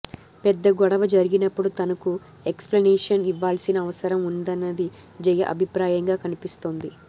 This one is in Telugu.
పెద్ద గొడవ జరిగినపుడు తనకు ఎక్స్ ప్లనేషన్ ఇవ్వాల్సిన అవసరం ఉందన్నది జయ అభిప్రాయంగా కనిపిస్తోంది